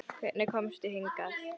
Hvernig komstu hingað?